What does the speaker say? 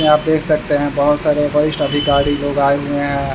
यहाँ पे आप देख सकते हैं बहुत सारे वरिष्ठ अधिकारी लोग आये हुए हैं।